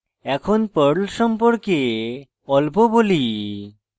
এখন perl সম্পর্কে অল্প বলি